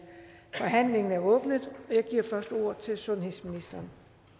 forhandlingen er åbnet jeg giver først ordet til sundhedsministeren